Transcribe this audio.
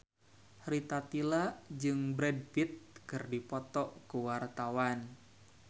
Rita Tila jeung Brad Pitt keur dipoto ku wartawan